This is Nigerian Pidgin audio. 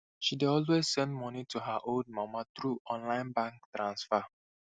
she dey always send monii to her old mama through online bank transfer